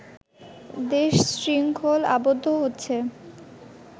দেশ শৃঙ্খল আবদ্ধ হচ্ছে